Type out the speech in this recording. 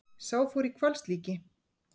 Sá fór í hvalslíki.